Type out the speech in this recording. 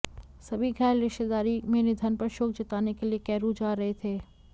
सभी घायल रिश्तेदारी में निधन पर शोक जताने के लिए कैरू जा रहे थे